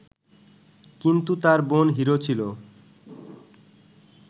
কিন্তু তার বোন হিরো ছিল